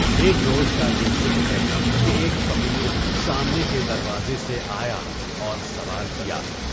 ایک روز کا یہ ذکر ہے کہ ایک فقیر سامنے کے دروازے سے آیا اور سوال کیا۔